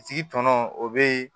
A tigi tɔnɔ o bɛ